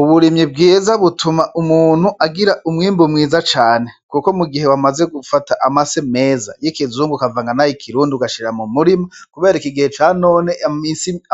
Uburimyi bwiza butuma umuntu agira umwimbu mwiza cane, kuko mu gihe wamaze gufata amase meza yi kizungu ukavanga nayi kirundi ugashira mu murima kubera iki gihe ca none